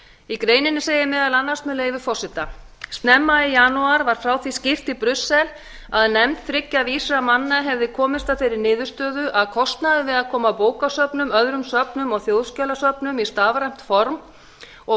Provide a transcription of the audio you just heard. í greininni segir meðal annars með leyfi forseta snemma í janúar var frá því skýrt í brussel að nefnd þriggja vísra manna hefði komist að þeirri niðurstöðu að kostnaður við að koma bókasöfnum öðrum söfnum og þjóðskjalasöfnum í stafrænt form og